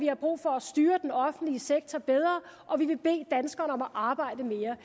er brug for at styre den offentlige sektor bedre og vi vil bede danskerne om at arbejde mere